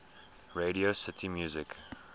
radio city music